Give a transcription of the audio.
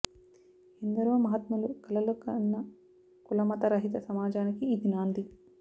ఎందరో మహాత్ములు కలలు కన్న కులమత రహిత సమాజానికి ఇది నాంది